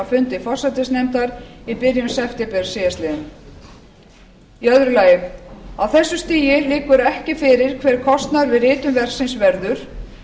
fundi forsætisnefndar í byrjun september síðastliðinn annars á þessu stigi liggur ekki fyrir hver kostnaður við ritun verksins verður